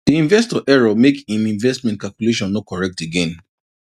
di investor error make im investment calculation no correct again